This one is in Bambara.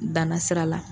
Danna sira la